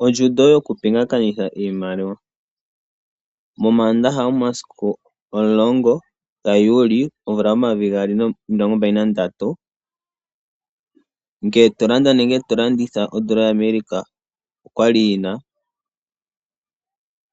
Oondjundo yoku pingakanitha iimaliwa. MoMandandaha omasiku omulongo gaJuli omvula yomayovi gaali nomilongo mbali nandatu ngele to landa nenge to landitha odollar yaAmerica okwa yina